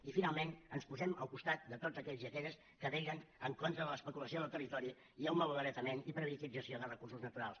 i finalment ens posem al costat de tots aquells i aquelles que vetllen en contra de l’especulació del territori i el malbaratament i privatització de recursos naturals